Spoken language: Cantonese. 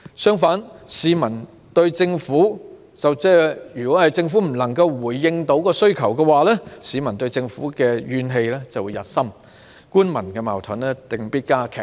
相反，如果政府不能回應需求，市民便會對政府怨氣日深，官民矛盾定必加劇。